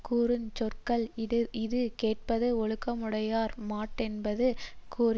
கூறு சொற்கள் இது கேட்பது ஒழுக்கமுடையார்மாட்டென்பது கூறிற்று